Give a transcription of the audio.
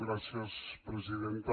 gràcies presidenta